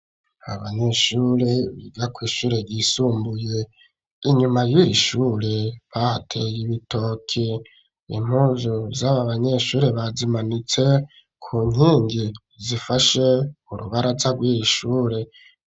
Abanyeshure biga kw''ishure yisumbuye inyuma yirishure pate y'ibitoki impuzu z'aba banyeshure bazimanitse ku nkingi zifashe urubaraza rwir'ishure.